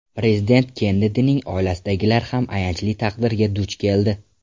Prezident Kennedining oilasidagilar ham ayanchli taqdirga duch keldi.